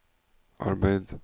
arbeid